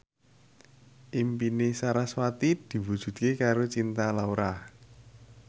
impine sarasvati diwujudke karo Cinta Laura